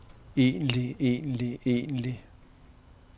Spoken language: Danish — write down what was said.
egentlig egentlig egentlig